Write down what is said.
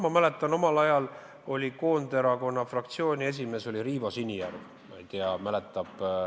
Ma mäletan, omal ajal oli Koonderakonna fraktsiooni esimees Riivo Sinijärv.